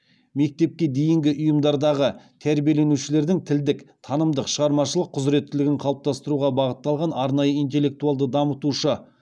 мектепке дейінгі ұйымдардағы тәрбиеленушілердің тілдік танымдық шығармашылық құзыреттілігін қалыптастыруға бағытталған арнайы интеллектуалды дамытушы